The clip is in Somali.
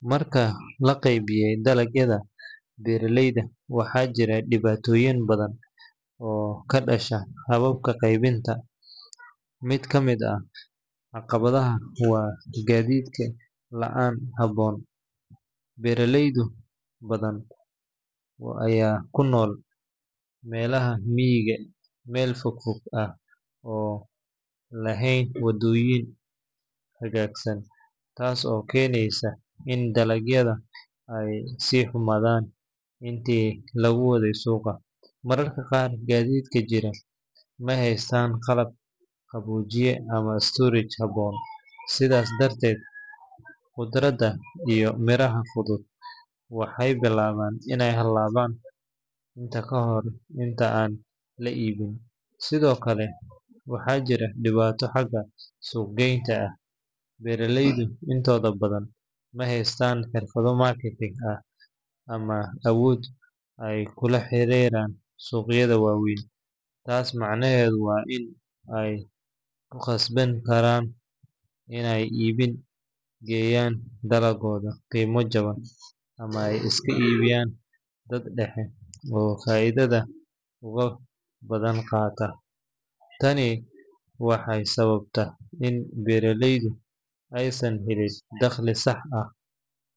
Marka la qaybiyay dalagyada beeraleyda, waxaa jira dhibaatooyin badan oo ka dhasha habka qaybinta. Mid ka mid ah caqabadaha waa gaadiid la’aan ku habboon. Beeraley badan ayaa ku nool miyiga meel fogfog ah oo aan lahayn waddooyin hagaagsan, taas oo keeneysa in dalagyada ay ku xumaadaan intii lagu waday suuqa. Mararka qaar, gaadiidka jira ma haystaan qalab qaboojiye ama storage habboon, sidaas darteed khudradda iyo miraha fudud waxay bilaabaan inay halaabaan ka hor inta aan la iibin. Sidoo kale, waxaa jirta dhibaato xagga suuq-geynta ah. Beeraleyda intooda badan ma haystaan xirfado marketing ama awood ay kula xiriiraan suuqyada waaweyn. Taas macnaheedu waa in ay ku khasbanaan karaan inay iib geeyaan dalaggooda qiimo jaban ama ay iska iibiyaan dad dhexe oo faa’iidada ugu badan qaata. Tani waxay sababtaa in beeraleyda aysan helin dakhliga saxda.